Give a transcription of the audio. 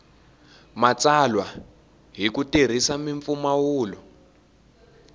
matsalwa hi ku tirhisa mimpfumawulo